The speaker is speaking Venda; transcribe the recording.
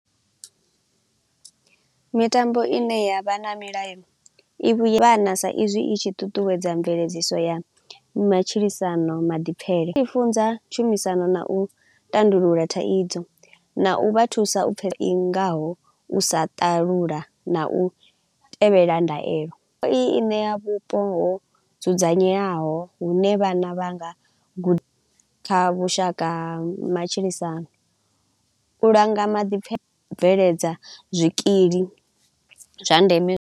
Mitambo i ne ya vha na milayo i vha na sa izwi i tshi ṱuṱuwedza mveledziso ya matshilisano maḓipfele. I funza tshumisano na u tandulula thaidzo na u vha thusa u i ngaho u sa ṱalula na u tevhela ndaelo. I ṋea vhupo ho dzudzanyeaho hune vhana vha nga guda kha vhushaka ha matshilisano, u langa maḓipfele a u bveledza zwikili zwa ndeme.